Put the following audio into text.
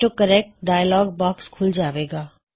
auto correct dialog box ਖੁੱਲ ਜਾਵੇਗਾ